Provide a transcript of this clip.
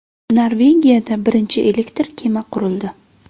Norvegiyada birinchi elektr kema qurildi.